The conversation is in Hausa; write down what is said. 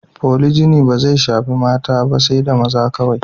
Polijini bai shaffi mata ba sai da maza kowai.